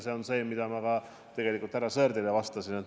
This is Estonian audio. See on seotud sellega, mida ma ka tegelikult härra Sõerdile vastasin.